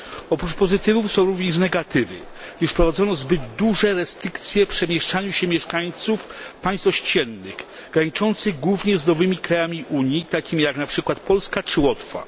Oprócz pozytywów są również negatywy, gdyż wprowadzono zbyt duże restrykcje w przemieszczaniu się mieszkańców państw ościennych graniczących głównie z nowymi krajami Unii, takimi jak np. Polska czy Łotwa.